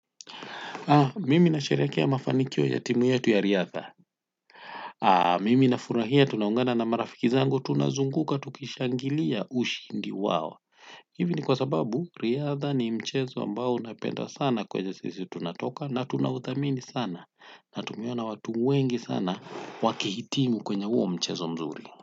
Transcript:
Mimi nasherehekea mafanikio ya timu yetu ya riadha. Mimi nafurahia tunaungana na marafiki zangu tunazunguka tukishangilia ushindi wao. Hivi ni kwa sababu riadha ni mchezo ambao napenda sana kwenye sisi tunatoka na tunauthamini sana. Natumiwa na watu wengi sana wakihitimu kwenye huo mchezo mzuri.